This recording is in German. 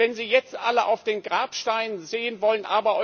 Und wenn Sie jetzt alle auf den Grabsteinen sehen wollen.